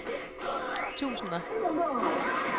tusinder